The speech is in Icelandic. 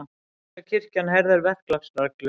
Þýska kirkjan herðir verklagsreglur